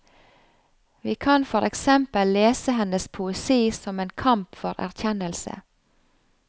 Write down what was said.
Vi kan for eksempel lese hennes poesi som en kamp for erkjennelse.